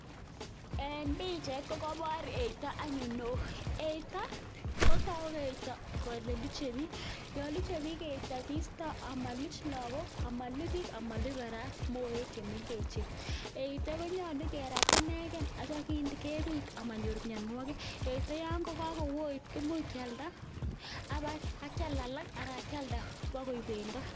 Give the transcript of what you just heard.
En pichait kokobor eito anyun neoo, eito kotoku eito kelee luchebik, yoon luchebiik eito keisto amaluch lokok amaluch biik amaluch kora moek chemeng'echen, eito konyolu kerat ineken akityo kebit amanyor mionwokik, yeite yoon ko kowit kimuch kialda ak kial alak alaa kialda bakoik bendo.